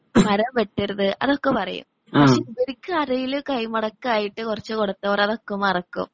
മരം വെട്ടരുത് അതൊക്കെ പറയും. പക്ഷേ ഇവരിക്ക് ആരെങ്കിലും കൈമടക്കായിട്ട് കുറച്ച് കൊടുത്തോടെ അതൊക്കെ മറക്കും.